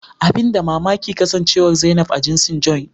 Abin da mamaki kasancewar zainab a jinsin "Joint "